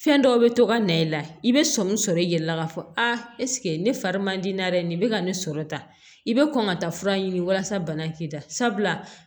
Fɛn dɔw bɛ to ka na i la i bɛ sɔmi sɔrɔ i yɛrɛ la k'a fɔ aa ne fari man di n na dɛ nin bɛ ka ne sɔrɔ tan i bɛ kɔn ka taa fura ɲini walasa bana k'i da sabula